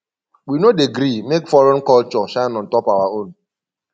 we no dey gree make foreign culture shine on top our own